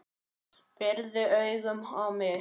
Pírði augun á mig.